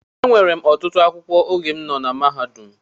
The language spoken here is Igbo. Enwere m ọtụtụ akwụkwọ oge m nọ na mahadum